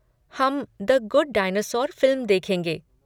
हम The Good Dinosaur फिल्म देखेंगे।